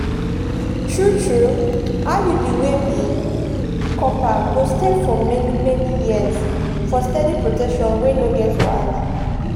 true-true iud wey be copper go stay for many-many years for steady protection wey no get wahala.